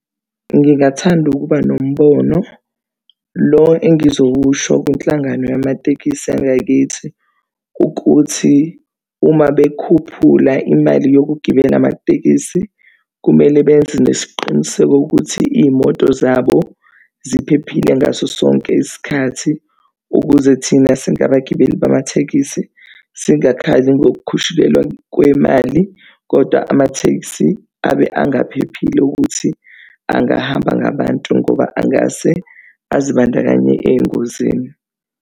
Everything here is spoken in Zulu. Ngingathanda ukuba nombono lo engizowusho kwinhlangano yamatekisi yangakithi ukuthi uma bekhuphula imali yokugibela amatekisi, kumele beyenze nesiqiniseko ukuthi iy'moto zabo ziphephile ngaso sonke isikhathi ukuze thina singabagibeli bamatekisi, singakhali ngokukhushulelwa kwemali kodwa amathekisi abe engaphephile ukuthi angahamba ngabantu ngoba angase azibandakanye ey'ngozini.